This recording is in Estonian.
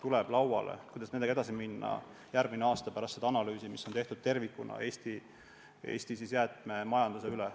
See temaatika, kuidas nendega edasi minna, tuleb lauale järgmine aasta, pärast seda analüüsi, mis tehakse tervikuna Eesti jäätmemajanduse kohta.